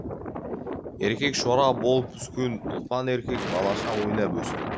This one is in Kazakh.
еркек шора болып өскен ұлпан еркек балаша ойнап өсті